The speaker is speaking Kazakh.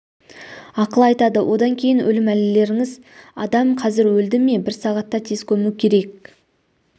ақыл айтады одан кейін өлім әлгілеріңіз адам қазір өлді ме бір сағатта тез көму керек